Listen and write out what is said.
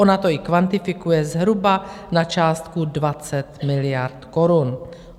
Ona to i kvantifikuje zhruba na částku 20 miliard korun.